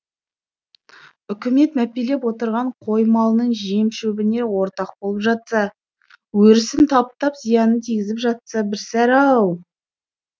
үкімет мәпелеп отырған қой малының жем шөбіне ортақ болып жатса өрісін таптап зияның тигізіп жатса бір сәрі ау